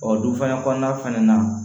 Ɔ du fana kɔnɔna fɛnɛ na